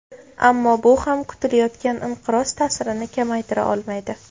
Ammo bu ham kutilayotgan inqiroz ta’sirini kamaytira olmaydi.